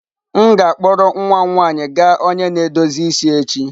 M ga-akpọrọ nwa m nwanyị gaa onye na-edozi isi echi.